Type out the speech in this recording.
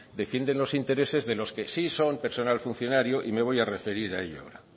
defienden los intereses de los que sí son personal funcionario y me voy a referir a ello ahora